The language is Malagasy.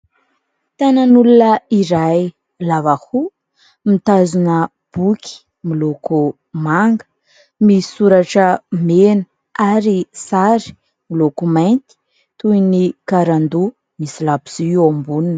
Tanan'olona iray, lava hoho, mitazona boky miloko manga misoratra mena ary sary miloko mainty toy ny karandoha misy labozia eo amboniny.